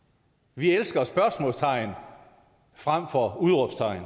vi elsker spørgsmålstegn frem for udråbstegn